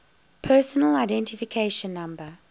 personal identification number